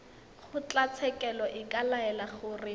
kgotlatshekelo e ka laela gore